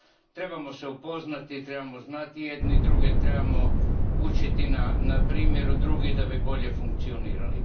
trebamo se upoznati, trebamo znati jedni druge, trebamo učiti na primjeru drugih da bi bolje funkcionirali.